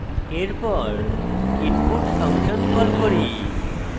এরপর input function call করি